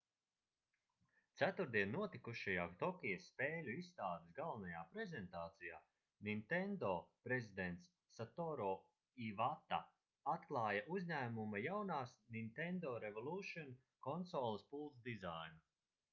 ceturtdien notikušajā tokijas spēļu izstādes galvenajā prezentācijā nintendo prezidents satoru ivata atklāja uzņēmuma jaunās nintendo revolution konsoles pults dizainu